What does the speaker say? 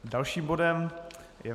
Dalším bodem je